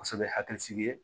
Kosɛbɛ hakilisigi ye